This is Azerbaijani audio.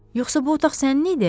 Yoxsa bu otaq sənin idi?